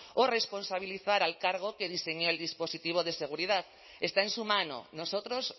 o responsabilizar al cargo que diseñó el dispositivo de seguridad está en su mano nosotros